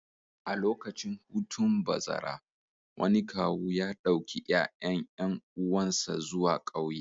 A lokacin hutun bazara, wani kawu ya ɗauki ƴaƴan ƴan uwansa zuwa ƙauye